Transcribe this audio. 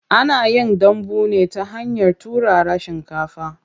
Ana yin dambu ne ta hanyar turara shinkafa.